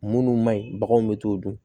Munnu ma ɲi baganw be t'o dun